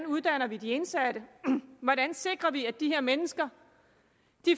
uddanner de indsatte hvordan sikrer vi at de her mennesker